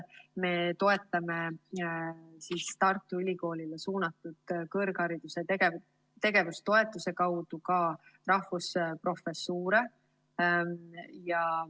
Me toetame Tartu Ülikoolile suunatud kõrghariduse tegevustoetuse kaudu ka rahvusprofessuure.